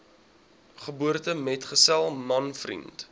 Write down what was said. geboortemetgesel man vriend